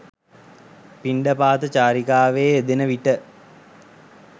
පිණ්ඩපාත චාරිකාවේ යෙදෙන විට